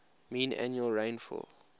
mean annual rainfall